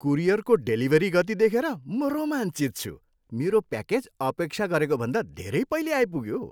कुरियरको delivery गति देखेर म रोमाञ्चित छु। मेरो प्याकेज अपेक्षा गरेकोभन्दा धेरै पहिले आइपुग्यो!